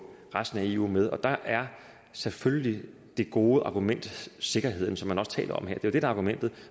resten af eu med der er selvfølgelig det gode argument sikkerheden som man også taler om her det er det der er argumentet